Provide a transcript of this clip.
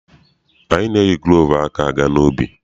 Anyị na-eyi gulovu aka aga n'ubi.